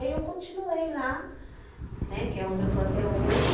E aí eu continuei lá, né, que é onde eu estou até hoje.